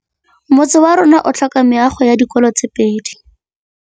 Motse warona o tlhoka meago ya dikolô tse pedi.